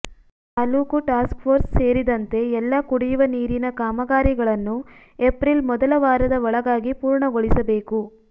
taluk task force ಸೇರಿದಂತೆ ಎಲ್ಲಾ ಕುಡಿಯುವ ನೀರಿನ ಕಾಮಗಾರಿಗಳನ್ನು ಎಪ್ರಿಲ್ ಮೊದಲ ವಾರದ ಒಳಗಾಗಿ ಪೂರ್ಣಗೊಳಿಸಬೇಕು